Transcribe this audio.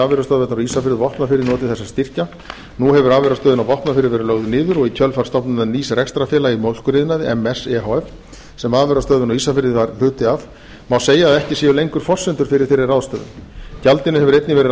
afurðastöðvarnar á ísafirði og vopnafirði notið þessara styrkja nú hefur afurðastöðin á vopnafirði verið lögð niður og í kjölfar stofnunar nýs rekstrarfélags í mjólkuriðnaði ms e h f sem afurðastöðin á ísafirði var hluti af má segja að ekki séu lengur forsendur fyrir þeirri ráðstöfun gjaldinu hefur einnig verið